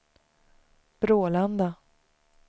Brålanda